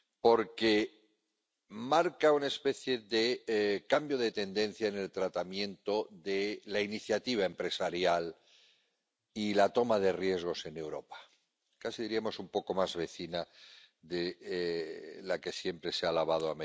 porque marca una especie de cambio de tendencia en el tratamiento de la iniciativa empresarial y la toma de riesgos en Europa, casi diríamos un poco más vecina de la americana, que siempre se ha alabado.